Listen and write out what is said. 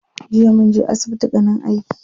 Jiya munje asbitin ganin aiki.